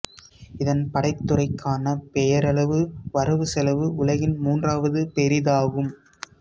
இதன் படைத்துறைக்கான பெயரளவு வரவு செலவு உலகின் மூன்றாவது பெரிதாகும்